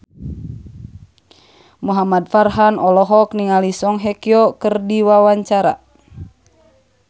Muhamad Farhan olohok ningali Song Hye Kyo keur diwawancara